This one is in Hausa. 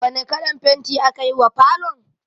Wane kalan fenti aka yi wa falon?